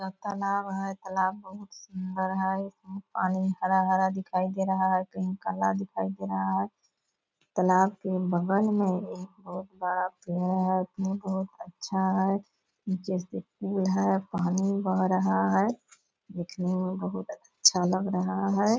एक तालाब है तालाब बहुत सुन्दर है इसमें पानी हरा-हरा दिखाई दे रहा है कहीं काला दिखाई दे रहा है तालाब के बगल में एक बहुत बड़ा पेड़ है पेड़ बहुत अच्छा है जैसे पेड़ है पानी भी बह रहा है दिखने में बहुत अच्छा लग रहा है।